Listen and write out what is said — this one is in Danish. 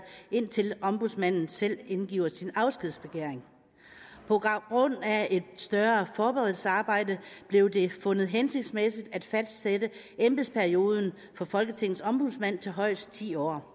indtil ombudsmanden selv indgiver sin afskedsbegæring på grund af et større forberedelsesarbejde blev det fundet hensigtsmæssigt at fastsætte embedsperioden for folketingets ombudsmand til højst ti år